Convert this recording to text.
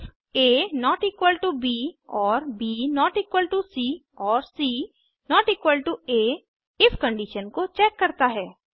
ifaब और ब सी और सी आ इफ कंडिशन को चेक करता है